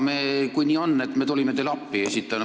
Kui nii on, siis me tuleme teile appi.